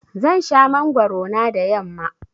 Zan sha mangwaro na da yamma.